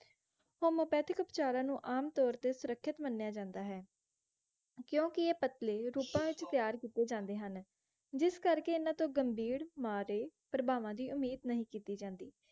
homeopathic ਉਪਚਾਰਾਂ ਨੂੰ ਆਮਤੌਰ ਤੇ ਸੁਰੱਖਿਅਤ ਮੰਨਿਆ ਜਾਂਦਾ ਹੈ ਕਿਉਂਕਿ ਇਹ ਪਤਲੇ ਰੂਪਾਂ ਵਿਚ ਤਿਆਰ ਕਿੱਤੇ ਜਾਂਦੇ ਹਨ ਜਿਸ ਕਰਕੇ ਇਹਨਾਂ ਤੋਂ ਗੰਭੀਰ ਮਾਂ ਦੇ ਪ੍ਰਭਾਵਾਂ ਦੀ ਉਮੀਦ ਨਹੀਂ ਕੀਤੀ ਜਾਂਦੀ